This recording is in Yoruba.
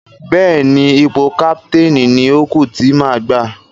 Bẹ́ẹ̀ni, ipò káptéénì ni ó kú tí má gbà.